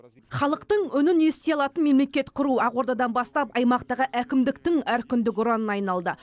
халықтың үнін ести алатын мемлекет құру ақордадан бастап аймақтағы әкімдіктің әркүндік ұранына айналды